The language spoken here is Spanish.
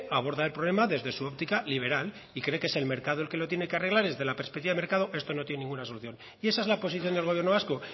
abordan el problema desde su óptica liberal y cree que es el mercado el que lo tiene que arreglar desde la perspectiva del mercado esto no tiene ninguna solución y esa es la posición del gobierno vasco